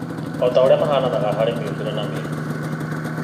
Ota ũrĩa matahananaga harĩ mĩũbĩre na mĩhubĩre